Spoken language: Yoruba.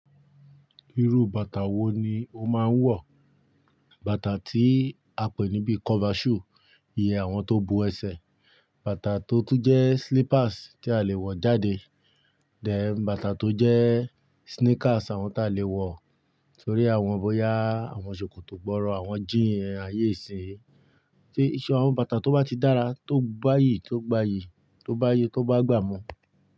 Irú bàtà wo ni o máa ń wọ̀? Bàtà tí a pè níbi cover shoe iyè àwọn tó bo ẹsẹ̀, bàtà tó tún jẹ slippers tí a lè wọ̀ jáde, dè bátà tó jẹ sneakers àwọn tí a lè wọ̀ torí àwọn bóyá àwọn ṣòkòtò gbọ́rọ àwọn jíí ẹ̀ ayé ìsìn. Sé iṣẹ́ àwọn bàtà tó bá ti dára tó gbayì, tó gbayì, tó bá ye, tó bá gbà mú.